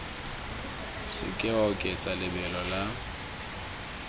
seke wa oketsa lebelo la